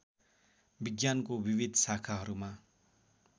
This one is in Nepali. विज्ञानको विविध शाखाहरूमा